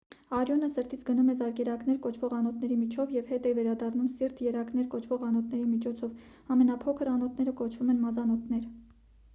արյունը սրտից գնում է զարկերակներ կոչվող անոթների միջոցով և հետ է վերադառնում սիրտ երակներ կոչվող անոթների միջոցով ամենափոքր անոթները կոչվում են մազանոթներ